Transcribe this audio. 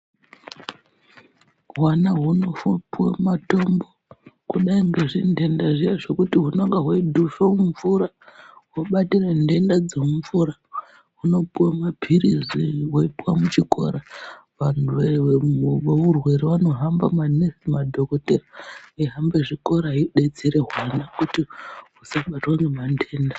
Hwana hunosisa kupiwamatombo kudai ngezvindenda zviya zvekuti hunenge hweidhuhva mumvura hobatira ndenda dzemumvura humopiwa mapirisi weipuwa muchikora vandu veurwere vanohamba maningi vaibatsira vana kuti vasabatwa ngezvitenda